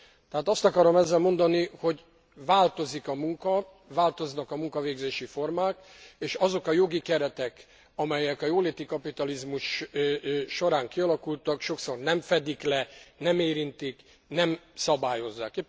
Tehát azt akarom ezzel mondani, hogy változik a munka, változnak a munkavégzési formák, és azok a jogi keretek, amelyek a jóléti kapitalizmus során kialakultak, sokszor nem fedik le, nem érintik, nem szabályozzák.